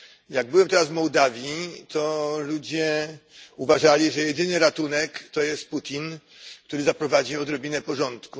Jak byłem teraz Mołdawii, to ludzie uważali, że jedynym ratunkiem jest Putin, który zaprowadzi odrobinę porządku.